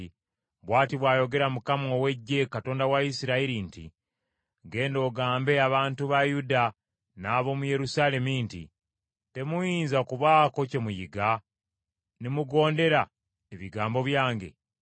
“Bw’ati bw’ayogera Mukama ow’Eggye, Katonda wa Isirayiri nti, Genda ogambe abantu ba Yuda n’ab’omu Yerusaalemi nti, ‘Temuyinza kubaako kye muyiga, ne mugondera ebigambo byange?